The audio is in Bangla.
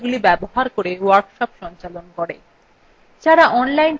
যারা online পরীক্ষা pass করে তাদের certificates দেয়